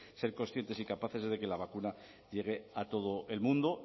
ser conscientes y capaces es de que la vacuna llegue a todo el mundo